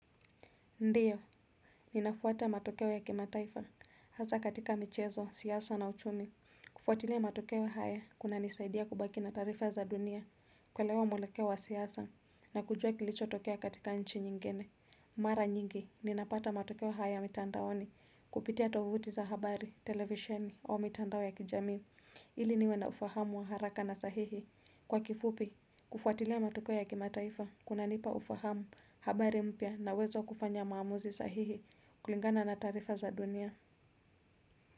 Ndiyo, ninafuata matokeo ya kimataifa, hasa katika michezo, siasa na uchumi. Kufuatilia matokeo haya, kunanisaidia kubaki na tarifa za dunia, kuelewa mwelekeo wa siasa, na kujua kilicho tokea katika nchi nyingene. Mara nyingi, ninapata matokeo haya mitandaoni, kupitia tovuti za habari, televisheni, au mitandao ya kijami, ili niwe na ufahamu wa haraka na sahihi. Kwa kifupi, kufuatilia matokeo ya kimataifa, kunanipa ufahamu, habari mpya na uwezo wa kufanya maamuzi sahihi kulingana na tarifa za dunia.